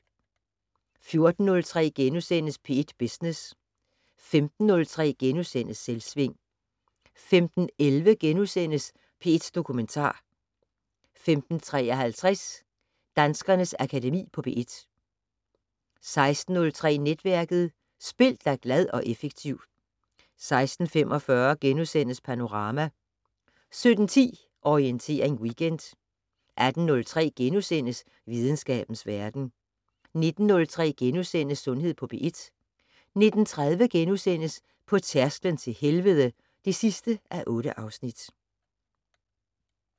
14:03: P1 Business * 15:03: Selvsving * 15:11: P1 Dokumentar * 15:53: Danskernes Akademi på P1 16:03: Netværket: Spil dig glad og effektiv 16:45: Panorama * 17:10: Orientering Weekend 18:03: Videnskabens Verden * 19:03: Sundhed på P1 * 19:30: På tærsklen til helvede (8:8)*